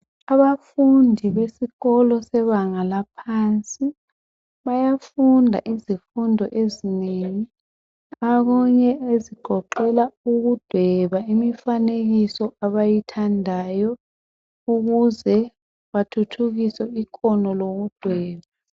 Abafundi besikolo sebanga laphansi. Bayafunda izifundo ezinengi. Okunye ezigoqela ukudweba imifanekiso abayithandayo. Ukuze bathuthukise ikhono lokudweba.